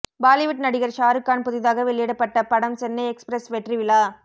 பாலிவுட் நடிகர் ஷாருக்கான் புதிதாக வெளியிடப்பட்ட படம் சென்னை எக்ஸ்பிரஸ் வெற்றி விழா